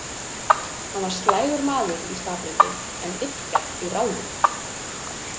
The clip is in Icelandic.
"Hann var slægur maður í skaplyndi, en illgjarn í ráðum. """